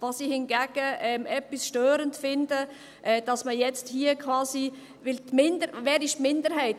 Was ich hingegen ein bisschen störend finde: dass man jetzt hier quasi … Wer ist die Minderheit?